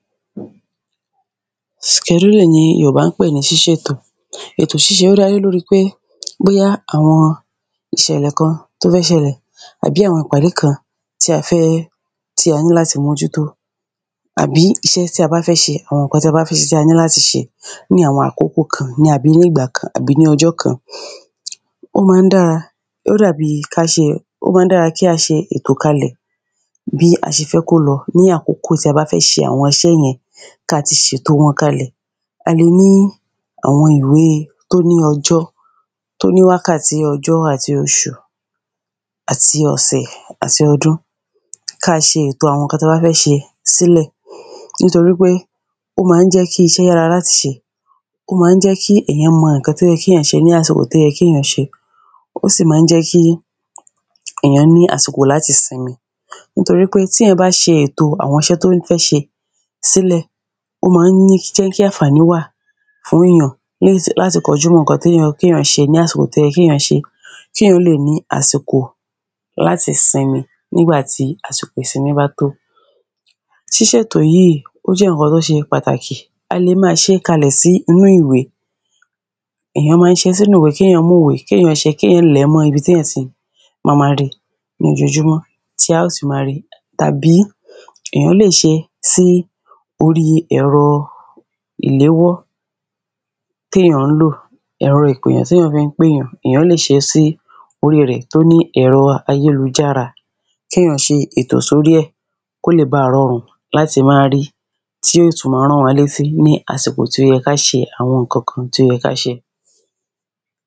skẹ̀dúlìn ni àwọn yorùbá ń pè ní ṣí ṣètò, èto ṣíse ó dá lórí pé bóyá àwọn ìṣẹ̀lẹ̀ kan tó fẹ́ ṣẹlẹ̀ tàbí àwọn ìpàdé kan tí a fẹ́ tí a ní láti mójútó àbí iṣẹ́ tí a bá fẹ́ ṣe, àwọn táa bá fẹ́ ṣe tí a ní láti ṣe ní àwọn àkókò kan ní àbí nígbà kan àbí ní ọjọ́ kan ó ma ń dára, ó dàbí ká ṣe, ó ma ń dára kí a ṣe ètò kalẹ̀ bí a ṣe fẹ́ kó lọ ní àkókò tí a bá fẹ́ ṣe àwọn isẹ́ yẹn káa ti ṣètò wọn kalẹ̀, a lè ní àwọn ìwé tó ní ọjọ́, tó ní wákàtí, ọjọ́ àti oṣù àti ọ̀sẹ̀ àti ọdún, káa ṣe ètò àwọn ǹkan táa bá fẹ́ ṣe sílẹ̀ nítorí pé ó ma ń jẹ́ kí iṣẹ́ yára láti ṣe ó ma ń jẹ́ kí èyàn mọ ǹkan tó yẹ́ kí èyàn ṣe ní àsìkò tó yẹ kí èyàn ṣe, ó sì ma ń jẹ́ kí èyàn ní àsìkò láti sinmi nítorípé tíyàn bá ṣe ètò àwọn iṣẹ́ tó fẹ́ ṣe sílẹ̀, ó ma ń ní jẹ́ kí ànfàní wà àwinà ní láti kọjú mọ́ ǹkan tó yẹ kí èyàn ṣe ní àsìkò tó yẹ kíyàn ṣe é kéyàn àsìkò láti sinmi nígbàtí àsìkò ìsinmi bá tó ṣìṣètò yìí, ó jẹ́ ǹkan tó ṣe pàtàkì, a lè máa ṣe kalẹ̀ sí inú ìwé èyàn ma ń ṣe é sínú ìwé kéyàn mú ìwé, kéyàn ṣe é kéyàn lẹ̀ẹ́ mọ́ ibi tí èyàn ti ma ma ri lójojúmọ́ tí a ó ti ma ri tàbí èyàn lè ṣe sí orí ẹ̀rọ ìléwọ́ téyàn ńlò, ẹ̀ro ìpèyàn téyàn fi ń péyàn, èyàn lè ṣe é sí orí rẹ̀ tó ní ẹ̀rọ ayélujára kéyàn ṣe ètò sórí ẹ̀, kó lè baà rọrùn láti máa ri tí ó tún máa rán wa létí ní àsìkò tí ó yẹ ká ṣe àwọn ǹkankan tí ó yẹ́ ká ṣe